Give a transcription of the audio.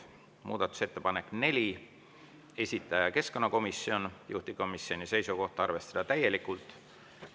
Muudatusettepanek nr 4, esitaja keskkonnakomisjon, juhtivkomisjoni seisukoht on arvestada täielikult.